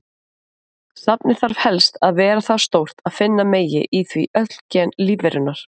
Safnið þarf helst að vera það stórt að finna megi í því öll gen lífverunnar.